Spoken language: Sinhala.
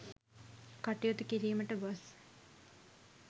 කටයුතු කිරීමට ගොස්